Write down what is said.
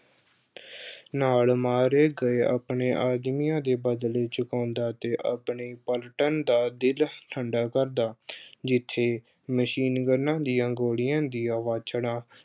ਨਾਲ ਮਾਰੇ ਗਏ ਆਪਣੇ ਆਦਮੀਆਂ ਦੇ ਬਦਲੇ ਚੁਕਾਉਂਦਾ ਤੇ ਆਪਣੀ platoon ਦਾ ਦਿਲ ਅਹ ਠੰਡਾ ਕਰਦਾ। ਜਿੱਥੇ machine guns ਦੀਆਂ ਗੋਲੀਆਂ ਦੀਆਂ ਵਾਛੜਾਂ